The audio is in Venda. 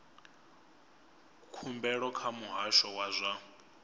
khumbelo kha muhasho wa zwa